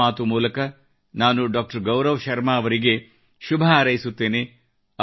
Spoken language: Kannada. ಮನದ ಮಾತು ಮೂಲಕ ನಾನು ಗೌರವ್ ಶರ್ಮಾ ಅವರಿಗೆ ಶುಭಹಾರೈಸುತ್ತೇನೆ